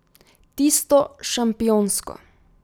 Tisto šampionsko.